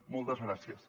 moltes gràcies